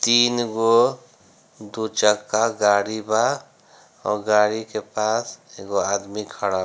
तीन गो दू चक्का गाड़ी बा और गाड़ी के पास एगो आदमी खड़ा --